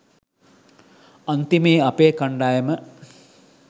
අන්තිමේ අපේ කණ්ඩායම